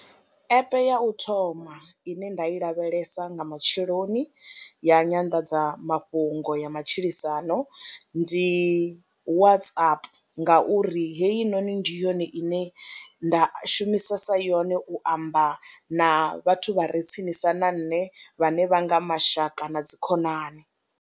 App ya u thoma ine nda i lavhelesa nga matsheloni ya nyanḓadzamafhungo ya matshilisano ndi Whatsap ngauri heyinoni ndi yone ine nda shumisesa yone u amba na vhathu vha re tsinisa na nṋe vhane vha nga mashaka na dzikhonani.